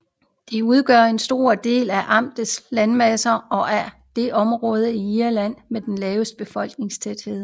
Den udgør en stor del af amtets landmasse og er det område i Irland med den laveste befolkningstæthed